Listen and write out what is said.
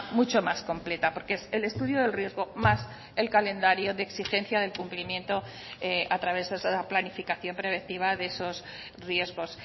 mucho más completa porque es el estudio del riesgo más el calendario de exigencia del cumplimiento a través de esa planificación preventiva de esos riesgos